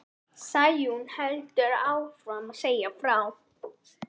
Sæunn heldur áfram að segja frá.